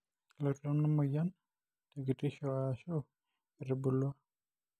kelotu ena myian tekitisho aashu etubulua.